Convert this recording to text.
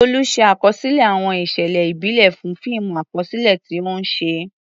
Tolu ṣe àkọsílẹ̀ àwọn ìṣẹ̀lẹ̀ ìbílẹ̀ fún fíìmù àkọsílẹ̀ tí ó ń ṣe.